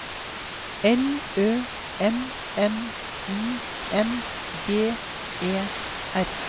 L Ø N N I N G E R